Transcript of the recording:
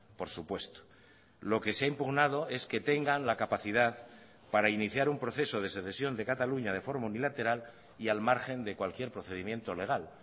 por supuesto lo que se ha impugnado es que tengan la capacidad para iniciar un proceso de secesión de cataluña de forma unilateral y al margen de cualquier procedimiento legal